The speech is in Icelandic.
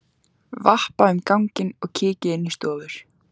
Vappa um ganginn og kíki inn í stofur.